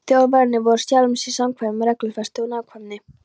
Þjóðverjarnir voru sjálfum sér samkvæmir um reglufestu og nákvæmni.